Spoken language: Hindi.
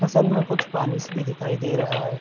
फ़सल में कुछ पानीस भी दिखाई दे रहा हैं ।